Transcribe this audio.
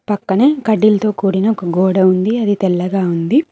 పక్కనే కడ్డీలతో కూడిన ఒక గోడ ఉంది అది తెల్లగా ఉంది.